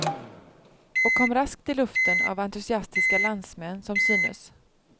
Och kom raskt i luften av entusiastiska landsmän som synes.